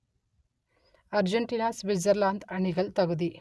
Argentina Switzerland அணிகள் தகுதி